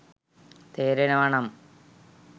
තේරෙනව නම්